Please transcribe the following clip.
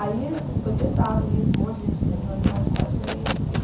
Aí foi pesado isso, um monte de gente terminou a amizade com a gente, tudo.